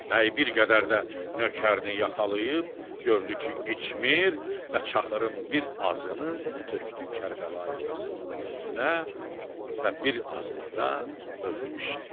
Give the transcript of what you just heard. Bəy bir qədər də nökərini yaxalayıb gördü ki, içmir və çaxırın bir azını tökdü Kərbəlayı Qasımın üstünə və bir azını da özü içdi.